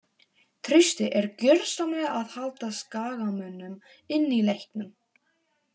Trausti er gjörsamlega að halda skagamönnum inní leiknum.